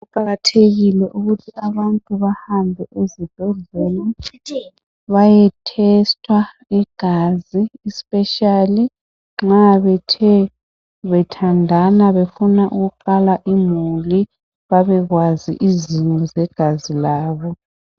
Kuqakathekile ukuthi abantu bahambe ezibhedlela bayehlolwa igazi ikakhulu nxa bethandana befuna ukuqala imuli babekwazi isimo segazi labo.